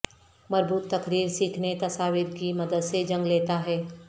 مربوط تقریر سیکھنے تصاویر کی مدد سے جگہ لیتا ہے